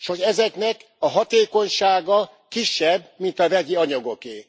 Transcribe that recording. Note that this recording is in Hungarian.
S hogy ezeknek a hatékonysága kisebb, mint a vegyi anyagoké?